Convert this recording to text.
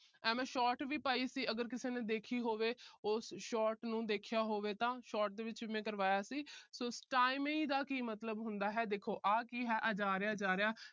ਐ ਮੈਂ short ਵੀ ਪਾਈ ਸੀ । ਅਗਰ ਕਿਸੇ ਨੇ ਦੇਖੀ ਹੋਵੇ। ਉਸ short ਨੂੰ ਦੇਖਿਆ ਹੋਵੇ ਤਾਂ short ਦੇ ਵਿੱਚ ਮੈਂ ਕਰਵਾਇਆ ਸੀ। so stymie ਦਾ ਕੀ ਮਤਲਬ ਹੁੰਦਾ ਹੈ ਆ ਜਾ ਰਿਹਾ ਜਾ ਰਿਹਾ।